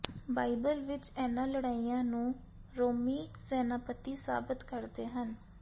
Bible ਵਿਚ ਇਨ੍ਹਾਂ ਲੜਾਈਆਂ ਨੂੰ ਰੋਮੀ ਸੈਨਾਪਤੀ ਸਾਬਤ ਕਰਦੇ ਹਨ